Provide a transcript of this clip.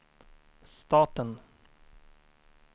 staten